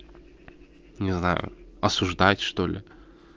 не знаю осуждать что ли